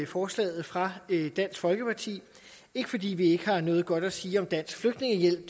forslaget fra dansk folkeparti ikke fordi vi ikke har noget godt at sige om dansk flygtningehjælp